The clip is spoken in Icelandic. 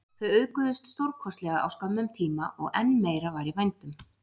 Þau auðguðust stórkostlega á skömmum tíma og enn meira var í vændum.